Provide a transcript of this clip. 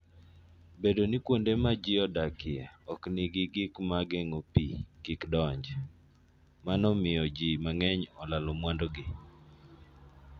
Bedo ni kuonde ma ji odakie ok nigi gik ma geng'o pi kik donj, mano miyo ji mang'eny olalo mwandugi.